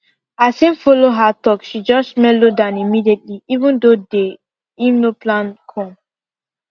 as him follow her talk she just melo down immediately even tho day him no plan come